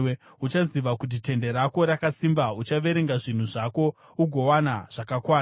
Uchaziva kuti tende rako rakasimba, uchaverenga zvinhu zvako ugowana zvakakwana.